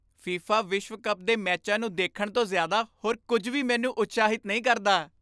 FIFA ਵਿਸ਼ਵ cup ਦੇ ਮੈਚਾਂ ਨੂੰ ਦੇਖਣ ਤੋਂ ਜ਼ਿਆਦਾ ਹੋਰ ਕੁੱਝ ਵੀ ਮੈਨੂੰ ਉਤਸ਼ਾਹਿਤ ਨਹੀਂ ਕਰਦਾ।